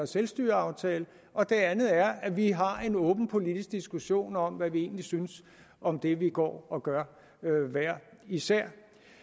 selvstyreaftaler og det andet er at vi har en åben politisk diskussion om hvad vi egentlig synes om det vi går og gør hver især